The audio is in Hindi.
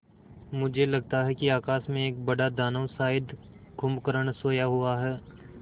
मुझे लगता है कि आकाश में एक बड़ा दानव शायद कुंभकर्ण सोया हुआ है